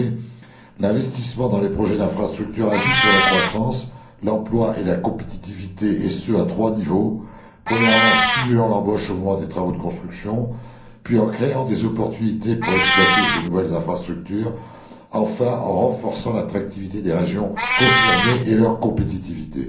En effet, l'investissement dans les projets d'infrastructure agit sur la croissance, l'emploi et la compétitivité, et ce à trois niveaux premièrement, en stimulant l'embauche au moment des travaux de construction, deuxièmement, en créant des opportunités pour exploiter ces nouvelles infrastructures et, troisièmement, en renforçant l'attractivité des régions concernées et leur compétitivité.